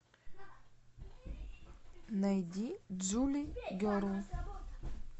найди джули герл